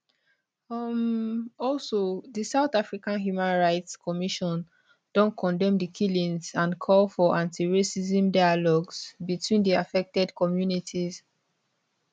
um also di south african human rights commission don condemn di killings and call for antiracism dialogues between di affected communities